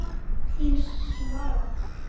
Þín, Svala.